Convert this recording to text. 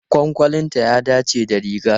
Kwankwalinta ya dace da rigar.